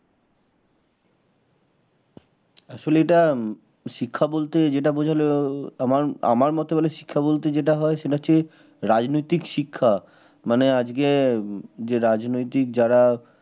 আসলে এইটা শিক্ষা বলতে যে যেটা বোঝালো আমার আমার মতে বলে শিক্ষা বলতে যেটা হয় সেটা হচ্ছে রাজনৈতিক শিক্ষা মানে আজকে যে রাজনৈতিক যারা